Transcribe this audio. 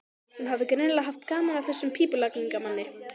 Hún hafði greinilega haft gaman af þessum pípulagningamanni.